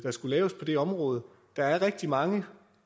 skulle laves på det område der er rigtig mange